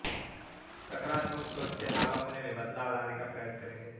सकारात्मक सोच से आप अपने में बदलाव लाने का प्रयास करेंगे